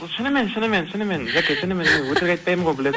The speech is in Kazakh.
шынынмен шынымен шынымен жәке шынымен де өтірік айтпаймын ғой